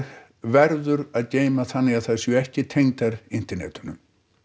verður að geyma þannig að þær séu ekki tengdar internetinu